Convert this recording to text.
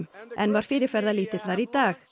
en var fyrirferðarlítill þar í dag